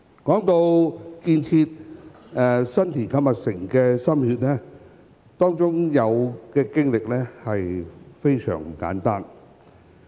談到為建設新田購物城所花的心血，當中的經歷非常不簡單。